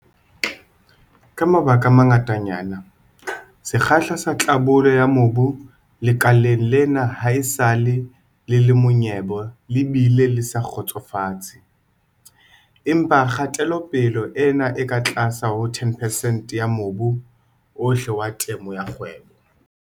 Ka mabaka a mangatanyana, sekgahla sa tlhabollo ya mobu lekaleng lena haesale le le monyebe le bile le sa kgotsofatse. Empa kgatelopele ena e ka tlase ho 10 percent ya mobu ohle wa temo ya kgwebo.